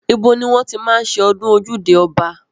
Ibo ni wọ́n ti máa ń ṣe ọdún ojúde ọba?